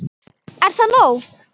Er það nóg?